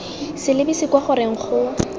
sa lebise kwa goreng go